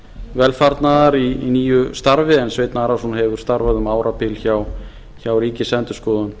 velfarnaðar í nýju starfi en sveinn arason hefur starfað um árabil hjá ríkisendurskoðun